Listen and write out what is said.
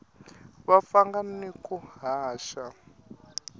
va pfanga na ku haxa